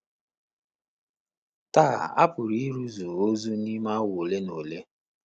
Taa, a pụrụ ịrụzu ozu n'ime awa ole na ole.